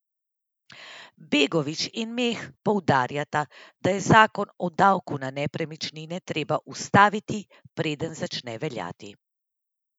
Bogovič in Meh poudarjata, da je zakon o davku na nepremičnine treba ustaviti, preden začne veljati.